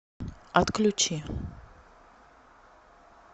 отключи